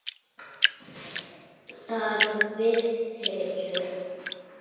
Þar við situr.